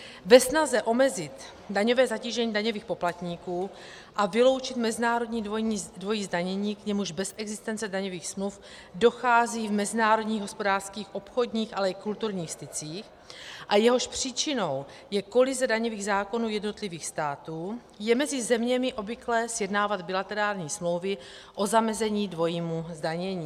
Ve snaze omezit daňové zatížení daňových poplatníků a vyloučit mezinárodní dvojí zdanění, k němuž bez existence daňových smluv dochází v mezinárodních hospodářských, obchodních ale i kulturních stycích a jehož příčinou je kolize daňových zákonů jednotlivých států, je mezi zeměmi obvyklé sjednávat bilaterální smlouvy o zamezení dvojímu zdanění.